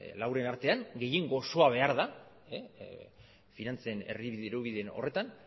lauren artean gehiengo osoa behar da finantzen herri dirubide horretan